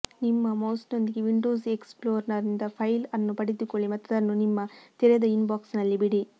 ನಿಮ್ಮ ಮೌಸ್ನೊಂದಿಗೆ ವಿಂಡೋಸ್ ಎಕ್ಸ್ ಪ್ಲೋರರ್ನಿಂದ ಫೈಲ್ ಅನ್ನು ಪಡೆದುಕೊಳ್ಳಿ ಮತ್ತು ಅದನ್ನು ನಿಮ್ಮ ತೆರೆದ ಇನ್ಬಾಕ್ಸ್ನಲ್ಲಿ ಬಿಡಿ